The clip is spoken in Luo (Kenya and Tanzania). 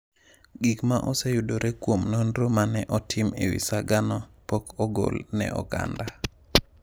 Gik ma oseyudore kuom nonro ma ne otim e wi sagano pok ogol ne oganda.